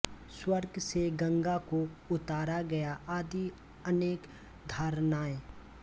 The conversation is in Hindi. स्वर्ग से गंगा को उतारा गया आदि अनेक धारणाएँ